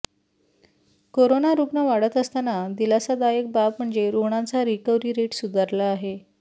corona रुग्ण वाढत असताना दिलासादायक बाब म्हणजे रुग्णांचा रिकव्हरी रेट सुधारला आहे